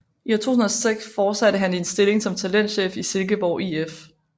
I 2006 fortsatte han i en stilling som talentchef i Silkeborg IF